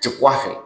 Tɛ kura fɛ